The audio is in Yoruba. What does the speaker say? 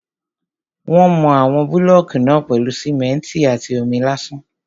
Wọ́n mọ àwọn búlọ̀kù náà pèlú simẹ́ntì àti omi lásán.